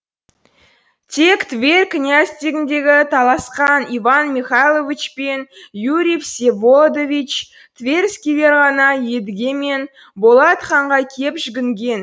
тек тверь князьдігіне таласқан иван михайлович пен юрий всеволодович тверскийлер ғана едіге мен болат ханға кеп жүгінген